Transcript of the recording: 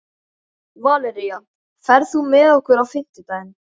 Valería, ferð þú með okkur á fimmtudaginn?